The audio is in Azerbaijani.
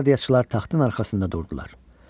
Qvardiyaçılar taxtın arxasında durdular.